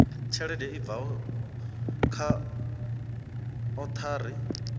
tshelede i bvaho kha othari